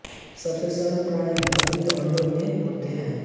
सबसे सरल प्रणाली अपीती अंडों में होती है